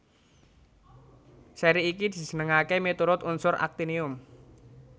Sèri iki dijenengaké miturut unsur aktinium